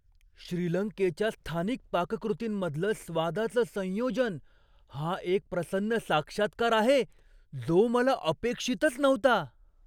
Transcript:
श्रीलंकेच्या स्थानिक पाककृतींमधलं स्वादाचं संयोजन हा एक प्रसन्न साक्षात्कार आहे, जो मला अपेक्षितच नव्हता.